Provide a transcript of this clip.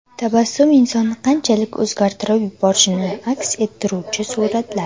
Tabassum insonni qanchalik o‘zgartirib yuborishini aks ettiruvchi suratlar.